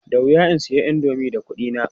Da wuya in sayi indomi da kuɗina.